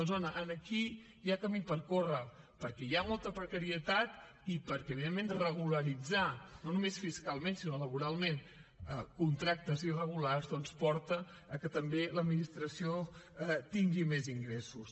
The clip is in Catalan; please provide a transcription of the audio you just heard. doncs home aquí hi ha camí per córrer perquè hi ha molta precarietat i perquè evidentment regularitzar no només fiscalment sinó laboralment contractes irregulars doncs porta al fet que també l’administració tingui més ingressos